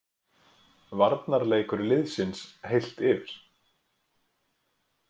Varnarleikur liðsins, heilt yfir.